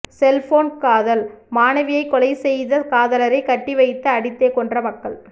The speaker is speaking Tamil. செல்போன் காதல் மாணவியைக் கொலைசெய்த காதலரை கட்டிவைத்து அடித்தே கொன்ற மக்கள்